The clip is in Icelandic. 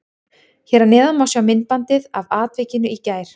Hér að neðan má sjá myndbandið af atvikinu í gær.